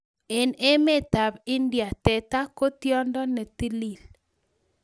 Eng emetab India, teta ko tyondo netilil